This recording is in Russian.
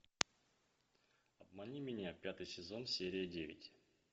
обмани меня пятый сезон серия девять